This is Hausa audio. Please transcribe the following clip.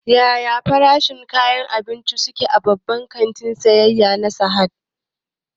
Ya farashin kayan abinci su ke a babban kantin siyayya na Sahad?